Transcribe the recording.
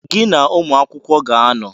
Gị na-ụmụ akwụkwọ ga-anọ